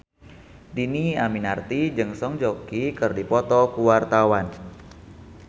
Dhini Aminarti jeung Song Joong Ki keur dipoto ku wartawan